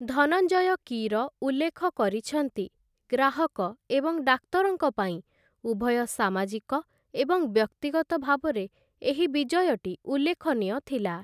ଧନଞ୍ଜୟ କୀର ଉଲ୍ଲେଖ କରିଛନ୍ତି, ଗ୍ରାହକ ଏବଂ ଡାକ୍ତରଙ୍କ ପାଇଁ ଉଭୟ ସାମାଜିକ ଏବଂ ବ୍ୟକ୍ତିଗତ ଭାବରେ ଏହି ବିଜୟଟି ଉଲ୍ଲେଖନୀୟ ଥିଲା ।